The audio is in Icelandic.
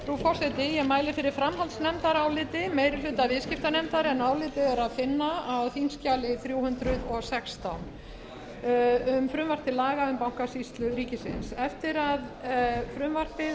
ég mæli fyrir framhaldsnefndaráliti meiri hluta viðskiptanefndar en álitið er að finna á þingskjali þrjú hundruð og sextán um frumvarp til laga um bankasýslu ríkisins eftir að